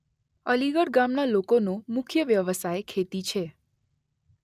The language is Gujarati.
અલીગઢ ગામના લોકોનો મુખ્ય વ્યવસાય ખેતી છે.